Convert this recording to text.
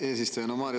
Eesistuja!